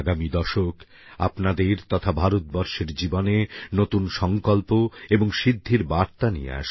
আগামী দশক আপনাদের তথা ভারতবর্ষের জীবনে নতুন সংকল্প এবং সিদ্ধির বার্তা নিয়ে আসুক